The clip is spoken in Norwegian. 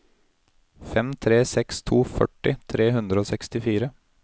fem tre seks to førti tre hundre og sekstifire